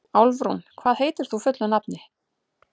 Álfrún, hvað heitir þú fullu nafni?